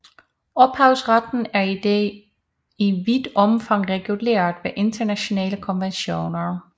Ophavsretten er i dag i vidt omfang reguleret ved internationale konventioner